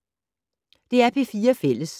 DR P4 Fælles